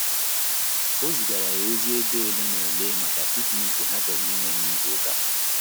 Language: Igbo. O zigara ya ozi ebe ole na ole maka piknik ha chọrọ inwe na ịzụ uka